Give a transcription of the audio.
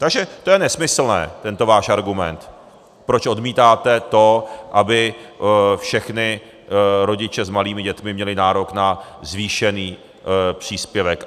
Takže to je nesmyslné, tento váš argument, proč odmítáte to, aby všichni rodiče s malými dětmi měli nárok na zvýšený příspěvek.